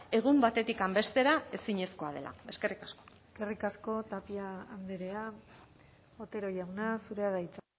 egun batetik bestera ezinezkoa dela eskerrik asko eskerrik asko tapia andrea otero jauna zurea da hitza